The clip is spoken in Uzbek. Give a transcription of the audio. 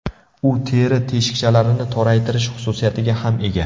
U teri teshikchalarini toraytirish xususiyatiga ham ega.